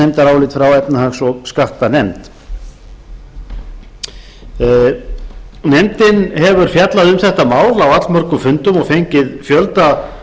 nefndarálit frá efnahags og skattanefnd nefndin hefur fjallað um þetta mál á allmörgum fundum og fengið fjölda